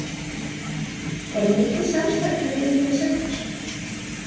Er mikið samstarf hjá liðinu við Selfoss?